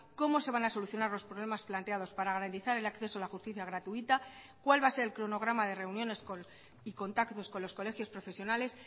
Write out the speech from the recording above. cómo se van a solucionar los problemas planteados para garantizar el acceso a la justicia gratuita cuál va a ser el cronograma de reuniones y contactos con los colegios profesionales